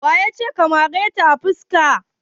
Waya ce ka mare ta a fuska?